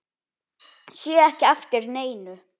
Sé ekki eftir neinu.